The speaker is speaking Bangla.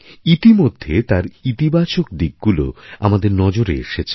ইতিমধ্যে তার ইতিবাচক দিকগুলো আমাদের নজরে এসেছে